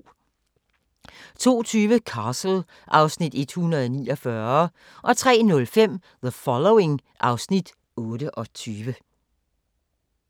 02:20: Castle (Afs. 149) 03:05: The Following (Afs. 28)